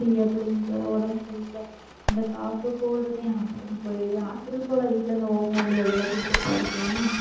செய்ய, புள்ளைங்களுக்கு, வேற உடம்பு சரியில்லை. இந்த cold தான் hospital போய் hospital போகலை வீட்டுல இருந்து, ஓமவல்லி அதெல்லாம் குடுத்துட்டுதான் இருக்கேன்